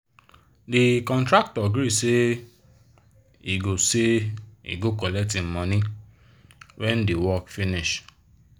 the contractor gree say he go say he go collect him money when the work finish